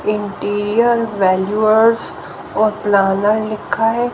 Interior और planner लिखा है।